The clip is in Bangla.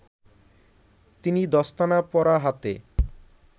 তিনি দস্তানা পরা হাতে